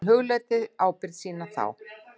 Hún hugleiddi ábyrgð sína þá.